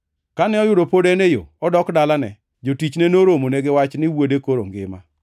Kane oyudo pod en e yo odok dalane, jotichne noromone gi wach ni wuode koro ngima.